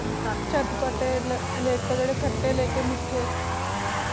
ਚਾਤ੍ਪਾਤ੍ਤਾਯ ਲੈ ਜੇਰੇ ਖੱਟੇ ਲੇਕਿਨ ਮੀਠੇ ਹਨ ਜੀ